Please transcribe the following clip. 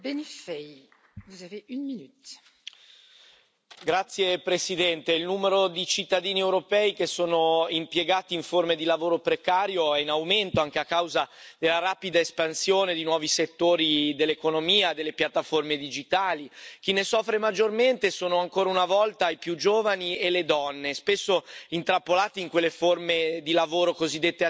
Signora Presidente, onorevoli colleghi, il numero di cittadini europei che sono impiegati in forme di lavoro precario è in aumento anche a causa della rapida espansione di nuovi settori dell'economia, delle piattaforme digitali. Chi ne soffre maggiormente sono, ancora una volta, i più giovani e le donne, spesso intrappolati in quelle forme di lavoro cosiddette atipiche,